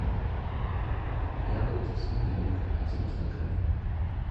яблоки симиренко один килограмм